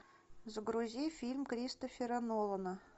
загрузи фильм кристофера нолана